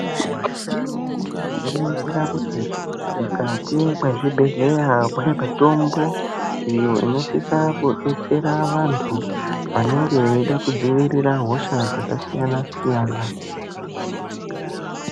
Tinoningira kuti mukati mwezvibhedhlera mune mitombo iyo inosisa kudetsera vantu vanenge veida kudziirira hosha dzakasiyana-siyana.